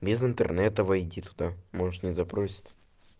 без интернета войди туда может не запросит